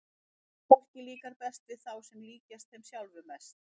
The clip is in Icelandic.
Fólki líkar best við þá sem líkjast þeim sjálfum mest.